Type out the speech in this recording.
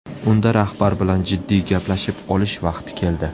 Unda rahbar bilan jiddiy gaplashib olish vaqti keldi.